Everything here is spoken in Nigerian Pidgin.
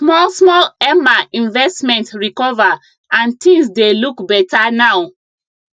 small small emma investment recover and things dey look beta now